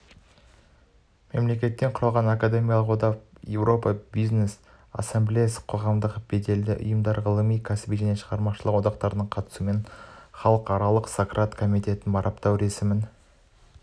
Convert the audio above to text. мемлекеттен құралған академиялық одақ еуропа бизнес ассамблеясы қоғамдық беделді ұйымдар ғылыми кәсіби және шығармашылық одақтардың қатысуымен халықаралық сократ комитеті марапаттау рәсімін